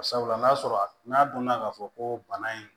Sabula n'a sɔrɔ n'a donna k'a fɔ ko bana in